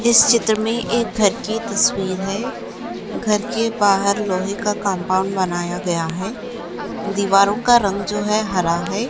इस चित्र मे एक घर की तस्वीर है घर के बाहर लोहे का कंपाऊंड बनाया गया है दीवारों का रंग जो है हरा है।